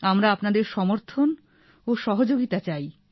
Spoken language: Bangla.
আমরা আপনাদের সমর্থন ও সহযোগিতা চাই